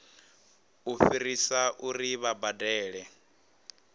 u fhirisa uri vha badele